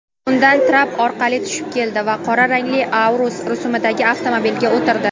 undan trap orqali tushib keldi va qora rangli "Aurus" rusumidagi avtomobilga o‘tirdi.